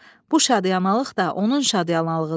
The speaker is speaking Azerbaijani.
Bu şadıyamanlıq da onun şadıyamanlığıdır.